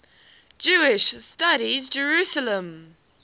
jewish studies jerusalem